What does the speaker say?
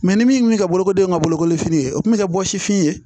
ni min kun mi kɛ bolokodenw ka bolokolifini ye o tun bɛ kɛ bɔsifin ye